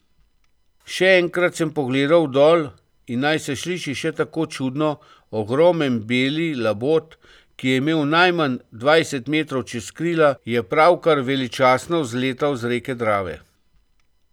Še enkrat sem pogledal dol, in naj se sliši še tako čudno, ogomen beli labod, ki je imel najmanj dvajset metrov čez krila, je pravkar veličastno vzletal z reke Drave.